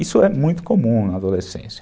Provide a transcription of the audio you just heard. Isso é muito comum na adolescência.